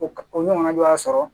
O ka o ɲɔgɔn y'a sɔrɔ